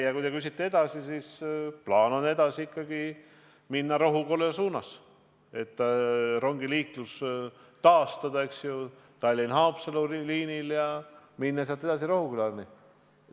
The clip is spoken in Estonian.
Ja kui te küsite, mis saab edasi, siis plaan on liikuda edasi ikkagi Rohuküla suunas, taastada rongiliiklus Tallinna–Haapsalu liinil ja minna sealt edasi Rohukülani.